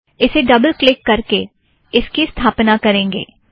उसे double click करके इसकी स्थापना करेंगे